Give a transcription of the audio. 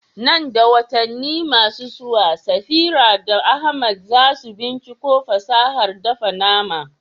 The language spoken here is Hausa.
Nan da watanni masu zuwa, Safira da Ahmad za su binciko fasahar dafa nama.